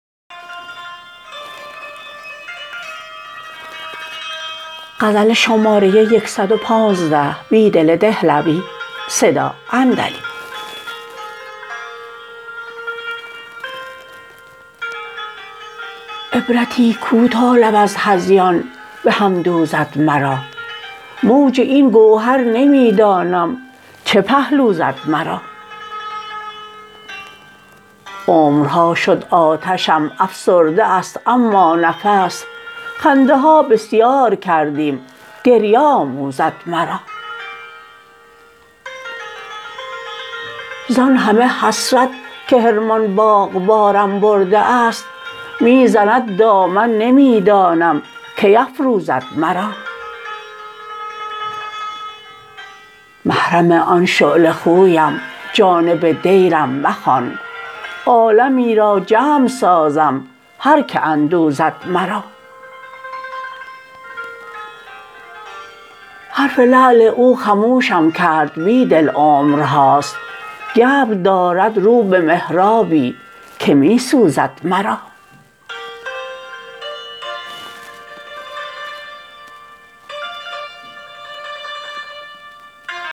عبرتی کوتا لب از هذیان به هم دوزد مرا موج این گوهر نمی دانم چه پهلو زد مرا عمرها شد آتشم افسرده است ما نفس خنده ها بسیارکردیم گریه آموزد مرا زان همه حسرت که حرمان باغبارم برده است می زند دامن نمی دانم کی افروزد مرا محرم آن شعله خویم جانب دیرم مخوان عالمی را جمع سازم هرکه بدوزد مرا حرف لعل اوخموشم کردبیدل عمرهاست گبر دارد رو به محرابی که می سوزد مرا